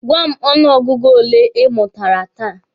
Gwa m ọnụ ọgụgụ ole ị mụtara taa!